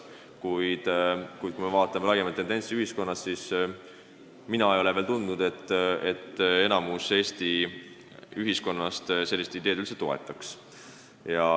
Kuid kui me vaatame laiemat tendentsi ühiskonnas, siis pean ütlema, et mina ei ole veel tundnud, nagu Eesti ühiskonna enamus sellist ideed üldse toetaks.